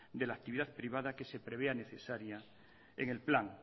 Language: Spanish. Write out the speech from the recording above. de la actividad privada que se prevea necesario en el plan